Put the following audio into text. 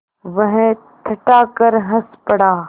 वह ठठाकर हँस पड़ा